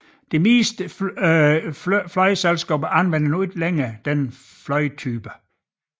De fleste flyselskaber anvender nu ikke længere flytypen